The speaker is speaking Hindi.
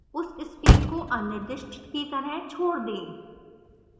उस stream को अनिर्दिष्ट की तरह छोड़ दें